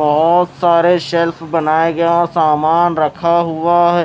बहुत सारे शेल्फ बनाए गया सामान रखा हुआ है।